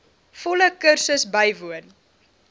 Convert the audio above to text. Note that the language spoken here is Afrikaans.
volle kursus bywoon